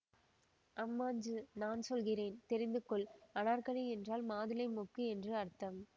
அம்மாஞ்சு நான் சொல்கிறேன் தெரிந்துகொள் அனார்க்கலி என்றால் மாதுளை மொக்கு என்று அர்த்தம்